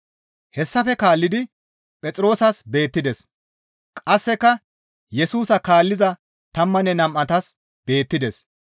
Hessafe kaallidi Phexroosas beettides; qasseka Yesusa kaalliza tammanne nam7atas beettides.